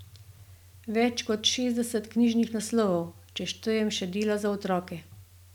Več kot šestdeset knjižnih naslovov, če štejem še dela za otroke!